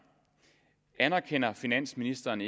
anerkender finansministeren